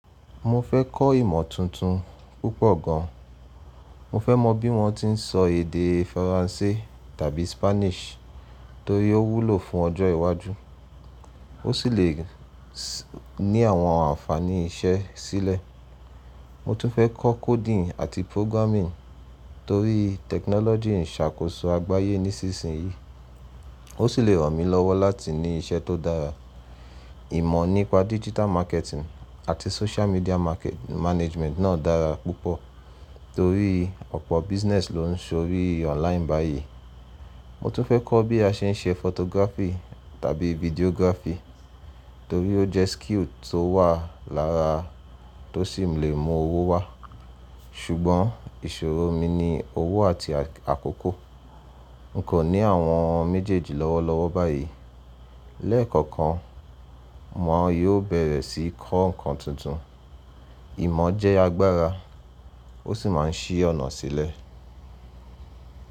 Mo fẹ́ kọ́ ìmọ̀ tuntun púpọ̀ gan an. Mo fẹ́ mọ bí wọ́n ti ń sọ èdè Faransé tàbí Spanish torí ó wúlò fún ọjọ́ iwájú, ó sì lè ní àwọn ànfàní iṣẹ́ sílẹ̀. Mo tún fẹ́ kọ coding àti programming torí technology ń ṣàkóso àgbáyé nísinsìnyí, ó sì lè ràn mí lọ́wọ́ láti ní iṣẹ́ tó dára. Ìmọ̀ nípa digital marketing àti social media market management náà dára púpọ̀ torí ọ̀pọ̀ business ló ń ṣorí online báyìí. Mo tún fẹ kọ bí a ṣe ń ṣe photography tàbí video-graphy torí ó jẹ skill tó wà lára, tó sì lè mú owó wá. Ṣùgbọ́n ìṣòro mi ni owó àti àkókò. N kò ní àwọn méjèèjì lọ́wọ́lọ́wọ́ báyìí. Lẹ́ẹ̀kọ̀kan mo yóò bẹ̀rẹ̀ sí kọ́ nǹkan tuntun. Ìmọ̀ jẹ́ agbára ó sì máa ń ṣí ọ̀nà sílẹ̀.